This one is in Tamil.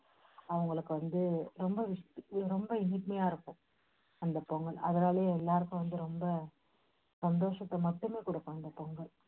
அவங்களுக்கு வந்து ரொம்ப விஷ~ இனிமையா இருக்கும். அந்த பொங்கல் அதனாலயே எல்லாருக்கும் வந்து ரொம்ப சந்தோஷத்தை மட்டுமே குடுக்கும் இந்த பொங்கல்.